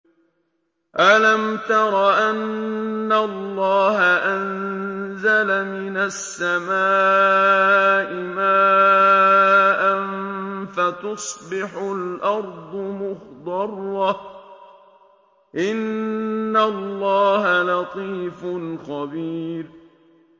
أَلَمْ تَرَ أَنَّ اللَّهَ أَنزَلَ مِنَ السَّمَاءِ مَاءً فَتُصْبِحُ الْأَرْضُ مُخْضَرَّةً ۗ إِنَّ اللَّهَ لَطِيفٌ خَبِيرٌ